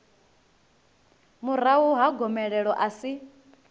murahu ha gomelelo a si